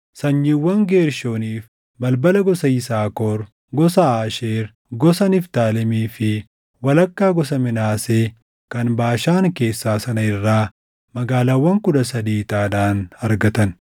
Sanyiiwwan Geershooniif balbala gosa Yisaakor, gosa Aasheer, gosa Niftaalemii fi walakkaa gosa Minaasee kan Baashaan keessaa sana irraa magaalaawwan kudha sadii ixaadhaan argatan.